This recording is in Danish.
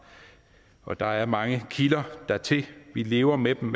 og der er mange kilder dertil vi lever med dem